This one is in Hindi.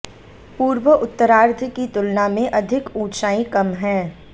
पूर्व उत्तरार्द्ध की तुलना में अधिक ऊंचाई कम है